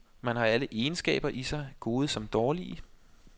Man har alle egenskaber i sig, gode som dårlige.